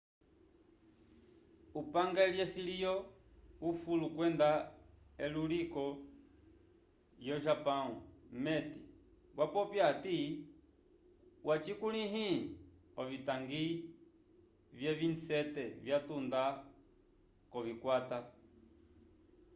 upange lyesiliyo ufulo kwenda eluliko yo japão meti wapopya ati wacikulihile ovitangi vye 27 vya tunda kovikwata